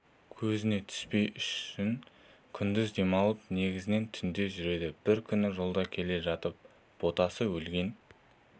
көзіне түспес үшін күндіз демалып негізінен түнде жүреді бір күні жолда келе жатып ботасы өлген